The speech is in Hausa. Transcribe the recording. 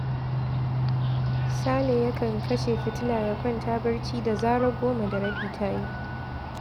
Sale yakan kashe fitila ya kwanta barci da zarar goma da rabi ta yi